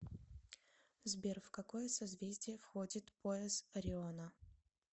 сбер в какое созвездие входит пояс ориона